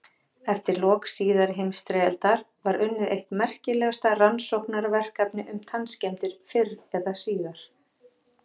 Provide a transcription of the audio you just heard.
Eftir lok síðari heimsstyrjaldar var unnið eitt merkilegasta rannsóknarverkefni um tannskemmdir fyrr eða síðar.